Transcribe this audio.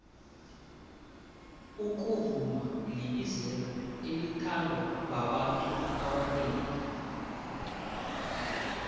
ukuvuma libizelo elithandwa babantu abanengi